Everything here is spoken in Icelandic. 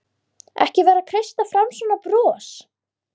Ekki vera að kreista fram svona bros!